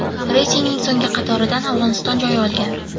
Reytingning so‘nggi qatoridan Afg‘oniston joy olgan.